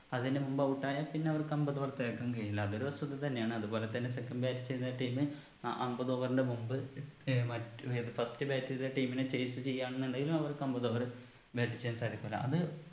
അതിന്റെ മുമ്പ് out ആയ പിന്നെ അവർക്ക് അമ്പത് പൂർത്തിയാക്കാൻ കഴിയില്ല അതൊരു വസ്തുത തന്നെയാണ് അത് പോലെത്തന്നെ second bat ചെയ്യുന്ന team അഹ് അമ്പത് over ന്റെ മുമ്പ് ഏർ മറ്റു ഏത് first bat ത്തെ team നെ chase ചെയ്യാന്നുണ്ടേലും അവർക്ക് അമ്പത് over bat ചെയ്യാൻ സാധിക്കൂല്ല അത്